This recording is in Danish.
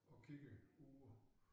Og kigger ud